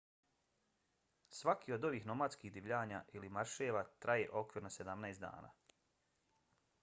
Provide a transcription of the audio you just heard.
svaki od ovih nomadskih divljanja ili marševa traje okvirno 17 dana